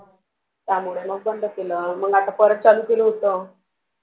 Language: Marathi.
त्यामुळे मग बंद केले आता परत चालू केलं होत. मग?